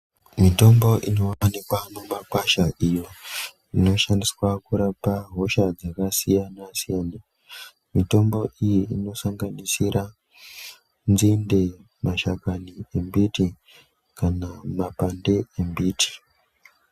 Mitombo inowanikwa mumakwasha iyo inoshandiswa kurapa hosha dzaksiyana siyana mitombo iyi inosanganisira nzinde mashakani embiti kana mapande embiti.